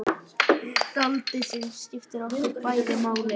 Dáldið sem skiptir okkur bæði máli.